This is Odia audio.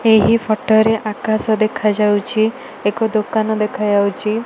ଏହି ଫଟ ରେ ଆକାଶ ଦେଖାଯାଉଚି। ଏକ ଦୋକାନ ଦେଖାଯାଉଚି।